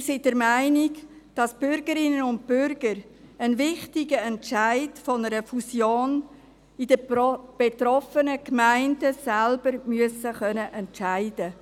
Wir sind der Meinung, dass die Bürgerinnen und Bürger den wichtigen Entscheid über eine Fusion in den betroffenen Gemeinden selber fällen müssen.